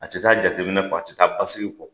A te taa jateminɛ kɔ a te taa basigi kɔ